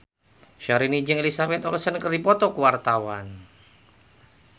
Syahrini jeung Elizabeth Olsen keur dipoto ku wartawan